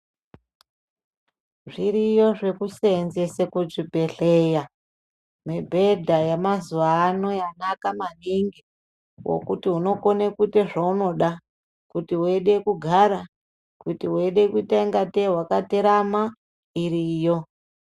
Zviriyo zvekuseenzese kuzvibhedhleya, mibhedha yemazuvano yanaka manhingi yokuti unogone kuite zvaunoda, kuti weide kugara, kuti weide kutangete wakaterama, iriyo.